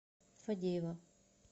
фадеева